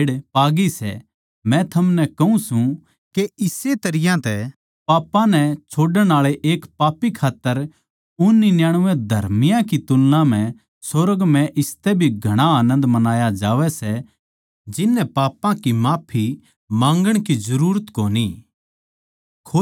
मै थमनै कहूँ सूं के इस्से तरियां तै पापां नै छोड़ण आळे एक पापी खात्तर उन निन्यानबे धर्मियाँ की तुलना म्ह सुर्ग म्ह इसतै भी घणा आनन्द मनाया जावै सै जिननै पापां की माफी माँगण की जरूरत कोनी